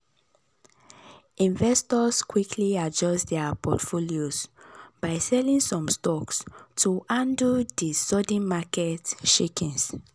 investors quickly adjust dir portfolios by selling some stocks to handle di sudden market shakings.